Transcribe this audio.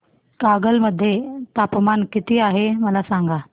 कागल मध्ये तापमान किती आहे मला सांगा